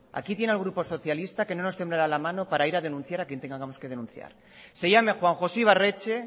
aquí tiene al grupo socialista que no nos temblará la mano para ir a denunciar a quien tengamos que denunciar se llame juan josé ibarretxe